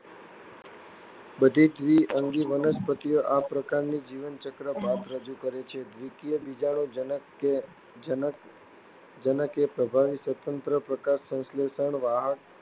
બધી દ્વિઅંગી વનસ્પતિઓ આ પ્રકારની જીવનચક્ર ભાત રજૂ કરે છે. દ્વિકીય બીજાણુજનક એ પ્રભાવી, સ્વતંત્ર, પ્રકાશસંશ્લેષી, વાહક